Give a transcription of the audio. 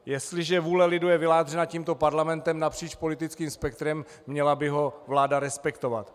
Jestliže vůle lidu je vyjádřena tímto parlamentem napříč politickým spektrem, měla by ho vláda respektovat.